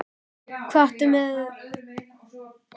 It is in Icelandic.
Hvað áttu við með því? spurði Milla undrandi?